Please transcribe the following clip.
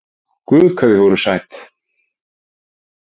Guð hvað þið voruð sæt!